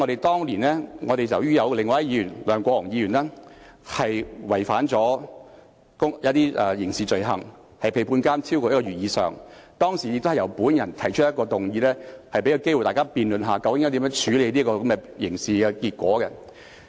當年，前議員梁國雄觸犯一些刑事罪行，被判監超過1個月，當時亦是由我提出議案，給大家機會辯論究竟應如何處理這個刑事結果。